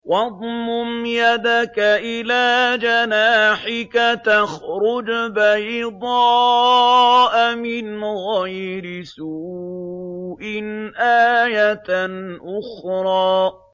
وَاضْمُمْ يَدَكَ إِلَىٰ جَنَاحِكَ تَخْرُجْ بَيْضَاءَ مِنْ غَيْرِ سُوءٍ آيَةً أُخْرَىٰ